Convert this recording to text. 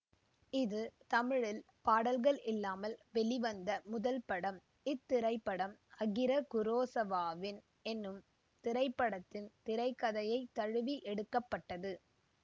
இது தமிழில் பாடல்கள் இல்லாமல் வெளிவந்த முதல் படம் இத்திரைப்படம் அகிர குரோசவாவின் என்னும் திரைப்படத்தின் திரை கதையை தழுவி எடுக்க பட்டது